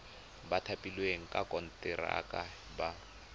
ba thapilweng ka konteraka ba